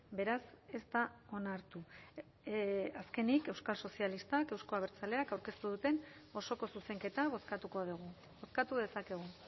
beraz ez da onartu azkenik euskal sozialistak euzko abertzaleak aurkeztu duten osoko zuzenketa bozkatuko dugu bozkatu dezakegu